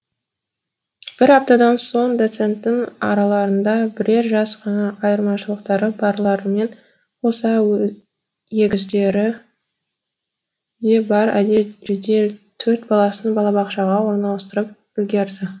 бір аптадан соң доценттің араларында бірер жас қана айырмашылықтары барларымен қоса егіздері де бар әдел жедел төрт баласын балабақшаға орналастырып үлгерді